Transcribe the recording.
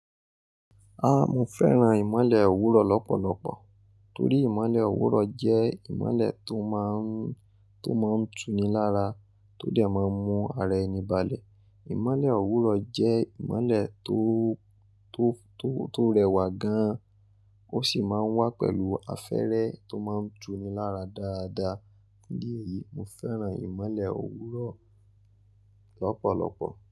Ah, mo fẹ́ràn ìmọ́lẹ̀ òwúrọ̀ lọ́pọ̀lọpọ̀ torí ìmọ́lẹ̀ òwúrọ̀ jẹ́ ìmọ́lẹ̀ tó má ń, tó má ń tuni lára, tó dẹ̀ má ń mú ara ẹni balẹ̀. Ìmọ́lẹ̀ òwúrọ̀ jẹ́ ìmọ́lẹ̀ tó, tó, tó, tó rẹwà gan-an, ó sì má ń wá pẹ̀lú afẹ́rẹ́ tó má ń tuni lára dáadáa. Ní èyí, mo fẹ́ràn ìmọ́lẹ̀ òwúrọ̀ lọ́pọ̀lọpọ̀.